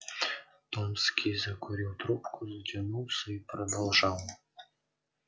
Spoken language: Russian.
томский закурил трубку затянулся и продолжал